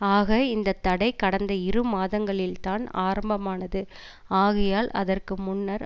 ஆக இந்த தடை கடந்த இரு மாதங்களில்தான் ஆரம்பமானது ஆகையால் அதற்கு முன்னர்